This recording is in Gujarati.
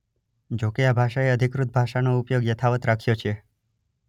જોકે આ ભાષાએ અધિકૃત ભાષાનો ઉપયોગ યથાવત રાખ્યો છે.